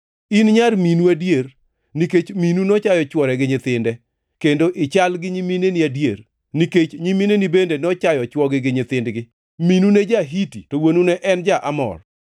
In nyar minu adier, nikech minu nochayo chwore gi nyithinde; kendo ichal gi nyimineni adier, nikech nyimineni bende nochayo chwogi gi nyithindgi. Minu ne en ja-Hiti to wuonu ne en ja-Amor.